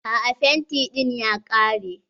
A'a fenti ɗin ya ƙare.